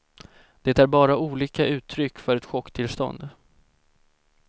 Det är bara olika uttryck för ett chocktillstånd.